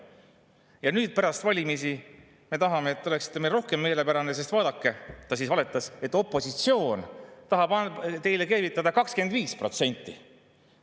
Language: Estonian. Ja nüüd, pärast valimisi, me tahame, et te oleksite meile rohkem meelepärased, sest vaadake – ta siis valetas –, opositsioon tahab teile keevitada 25%.